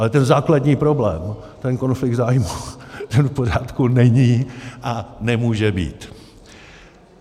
Ale ten základní problém, ten konflikt zájmů, ten v pořádku není a nemůže být.